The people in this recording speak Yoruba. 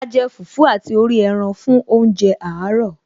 A jẹ fùfú àti orí ẹran fún oúnjẹ àárọ̀